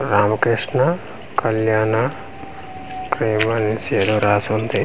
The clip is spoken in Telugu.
రామకృష్ణ కళ్యాణ ఏదో రాసింది.